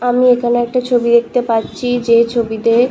আমি এখানে একটা ছবি দেখতে পাচ্ছি যে ছবিতে--